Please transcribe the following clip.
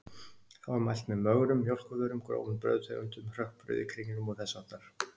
Þá er mælt með mögrum mjólkurvörum, grófum brauðtegundum, hrökkbrauði, kringlum og þess háttar.